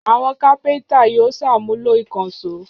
Àwọn kápẹ́ńtà yóò ṣàmúlò ìkànṣó.